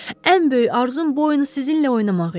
Ən böyük arzum bu oyunu sizinlə oynamaq idi.